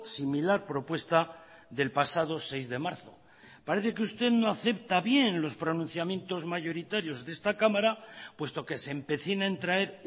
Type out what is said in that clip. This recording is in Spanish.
similar propuesta del pasado seis de marzo parece que usted no acepta bien los pronunciamientos mayoritarios de esta cámara puesto que se empecina en traer